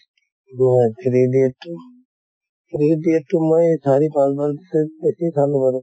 three idiots তো three idiots তো মই চাৰি পাঁছ বাৰত চে বেছি চালো আৰু